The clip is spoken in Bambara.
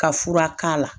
Ka fura k'a la